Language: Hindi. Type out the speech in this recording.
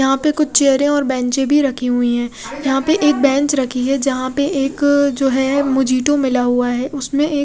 यहाँ पर कुछ चेयरे और बेंचे भी रखी हुई है यहाँ पर एक बेंच रखी है जहाँ पर एक जो है मु जीटू मिला हुआ है उसमे एक--